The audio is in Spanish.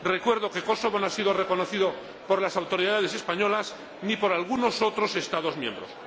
Recuerdo que Kosovo no ha sido reconocido por las autoridades españolas ni por algunos otros Estados miembros.